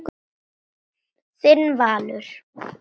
Þinn Valur.